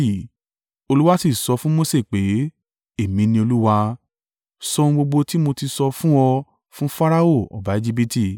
Olúwa sì sọ fún Mose pé, “Èmi ni Olúwa. Sọ ohun gbogbo ti mo ti sọ fún ọ fún Farao ọba Ejibiti.”